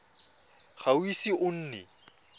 ga o ise o nne